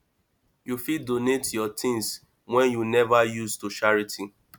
you fit donate yur tins wey yu neva use to charity